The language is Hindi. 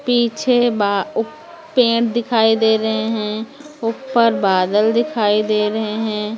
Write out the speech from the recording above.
पीछे बा उप पेंट दिखाई दे रहे हैं ऊपर बादल दिखाई दे रहे हैं।